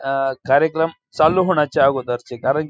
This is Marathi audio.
अ कार्यक्रम चालू होण्याच्या अगोदरची कारण --